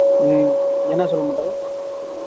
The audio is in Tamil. உம் என்ன சொல்ல மாட்டாரு